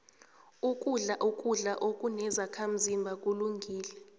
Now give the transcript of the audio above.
ukudla ukudla okunezakhazimba kulungile